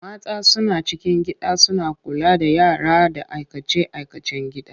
Mata suna cikin gida suna kula da yara da aikace-aikacen gida.